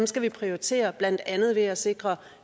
skal prioritere blandt andet ved at sikre